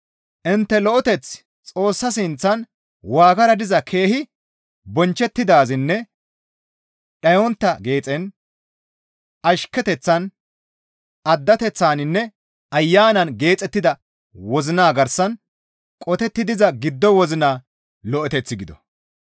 Intte lo7eteththi Xoossa sinththan waagara diza keehi bonchchettidaazinne dhayontta geexen, ashketeththan, addateththaninne Ayanan geexettida wozina garsan qotetti diza giddo wozina lo7eteth gido.